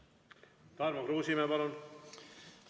Tarmo Kruusimäe, palun!